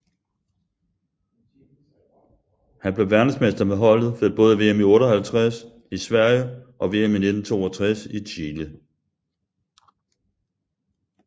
Han blev verdensmester med holdet ved både VM i 1958 i Sverige og VM i 1962 i Chile